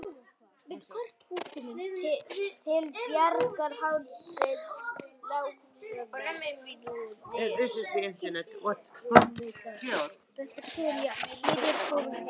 Ég er kominn heim.